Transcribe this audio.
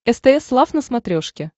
стс лав на смотрешке